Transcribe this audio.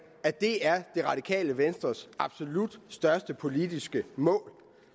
at det er det radikale venstres absolut største politiske mål